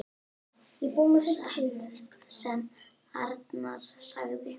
Satt sem Arnar sagði.